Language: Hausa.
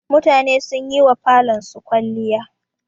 Mutane sun yi wa falonsu kwalliya.